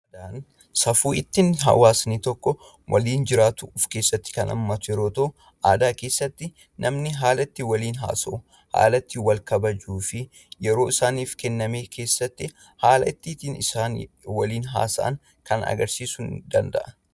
Safuun akkaataa hawaasni tokko ittiin waliin jiraatu kan of keessaa qabu yoo ta'u aadaa keessatti namni haala ittiin waliin haasa'u, haala ittiin wal kabajuu fi yeroo isaanii kenname keessatti haala isaan ittin waliin haasa'an agarsiisuu danda'a.